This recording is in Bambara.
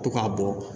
To ka bɔ